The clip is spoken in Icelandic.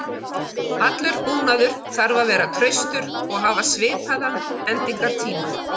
Allur búnaður þarf að vera traustur og hafa svipaðan endingartíma.